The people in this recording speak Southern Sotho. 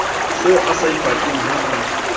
se a saipatle ha a